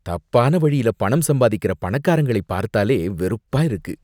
தப்பான வழியில பணம் சம்பாதிக்கிற பணக்காரங்களை பார்த்தாலே வெறுப்பா இருக்கு.